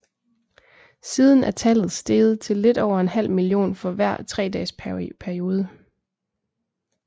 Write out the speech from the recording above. Siden er tallet steget til lidt over en halv million for hver tredages periode